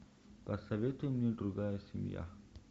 посоветуй мне другая семья